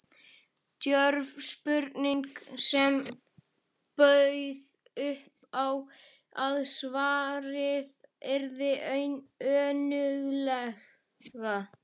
Djörf spurning, sem bauð upp á að svarað yrði önuglega.